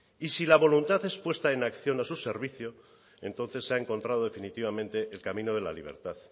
y si la voluntad es puesta en acción a su servicio entonces se ha encontrado definitivamente el camino de la libertad